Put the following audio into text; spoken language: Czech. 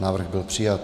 Návrh byl přijat.